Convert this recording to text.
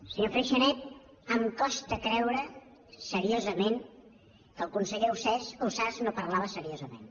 senyor freixanet em costa creure seriosament que el conseller ausàs no parlés seriosament